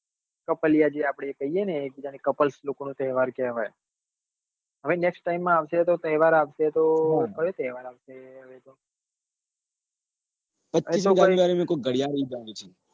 જે કપલીયાજે કહીએ ને આપડે cupules લોકો નો તહેવાર કહેવાય જહવે next time માં આવશે તો તહેવાર આવશે તો કયો તહેવાર આવશે કઈક